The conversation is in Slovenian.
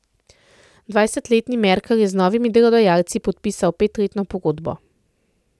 Dvajsetletni Merkel je z novimi delodajalci podpisal petletno pogodbo.